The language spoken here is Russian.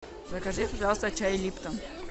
закажи пожалуйста чай липтон